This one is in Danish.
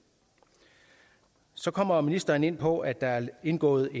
så kommer ministeren ind på at der er indgået